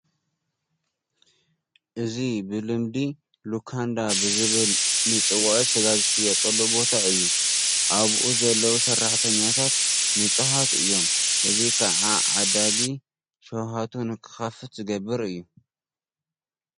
እዚ ብልምዲ ሉካንዳ ብዝብል ንፅውዖ ስጋ ዝሽየጠሉ ቦታ እዩ፡፡ ኣብኡ ዘለዉ ሰራሕተኛታት ንፁሃት እዮም፡፡ እዚ ከዓ ዓዳጊ ሽውሃቱ ንኽኽፈት ዝገብር እዩ፡፡